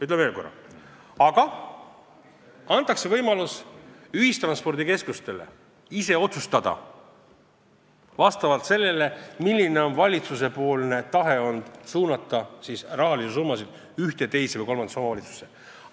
Ütlen veel korra, et seda ei võeta ära, aga ühistranspordikeskustele antakse võimalus ise otsustada vastavalt valitsuse tahtele suunata rahasummasid ühte, teise või kolmandasse omavalitsusse.